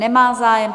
Nemá zájem.